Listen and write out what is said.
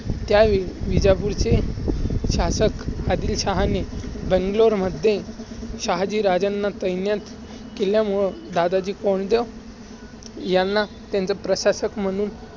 त्या विजापूरचे शासक आदिलशहाने बंगलोरमध्ये शहाजीराजांना तैनात केल्यामुळे दादाजी कोंडदेव ह्यांना त्यांचे प्रशासक म्हणून